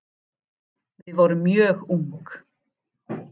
Við vorum mjög ung